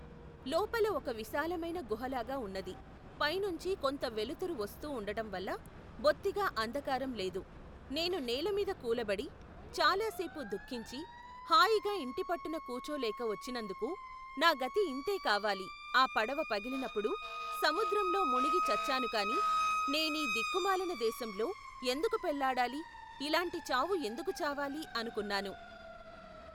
లోపల ఒక విశాలమైన గుహలాగా ఉన్నది, పైనుంచి కొంత వెలుతురు వస్తూ ఉండటం వల్ల, బొత్తిగా అంధకారం లేదు, నేను నేలమీద కూలబడి, చాలా సేపు దుఃఖించి, హాయిగా ఇంటిపట్టున కూచోలేక వచ్చినందుకు, నా గతి ఇంతే కావాలి ఆ పడవ పగిలినప్పుడు, సముద్రంలో మునిగి చచ్చానుకాను నేనీ దిక్కు మాలిన దేశంలో, ఎందుకు పెళ్ళాడాలి ఇలాంటి చావు ఎందుకు చావాలి అనుకున్నాను.